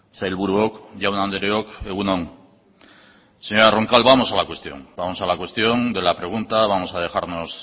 sailburuok jaun andreok egun on señora roncal vamos a la cuestión vamos a la cuestión de la pregunta vamos a dejarnos